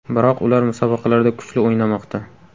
Biroq ular musobaqalarda kuchli o‘ynamoqda.